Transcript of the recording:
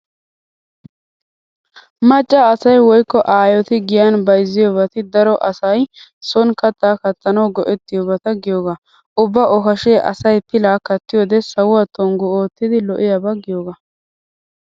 Macca asay woykko aayoti giyan bayzziyobati daro asay sooni kattaa kattanawu go'ettiyobata giyogaa. Ubba okashee asay pilaa kattiyode sawuwa tonggu oottidi lo'iyaba giyogaa.